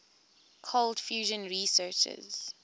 cold fusion researchers